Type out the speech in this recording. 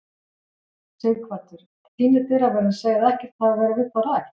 Sighvatur: En þínir dyraverðir segja að ekkert hafi verið við þá rætt?